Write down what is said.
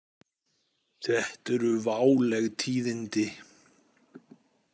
Þetta eru váleg tíðindi.